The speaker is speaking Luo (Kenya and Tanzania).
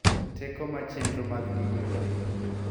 Teko ma chenro mag dindego nigo .